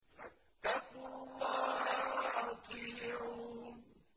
فَاتَّقُوا اللَّهَ وَأَطِيعُونِ